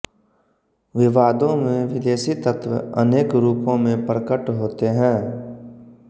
विवादों में विदेशी तत्व अनेक रूपों में प्रकट होते हैं